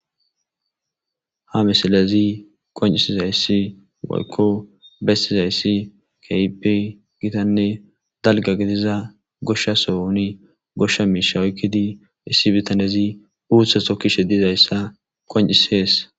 Ha missilezi qonc'isizaysi woyko besizaysi kehipe gitane dalga gidiza gosha sohoni gosha misha oykidi issi bitanezi uta takishe dizaysa qonc'ses.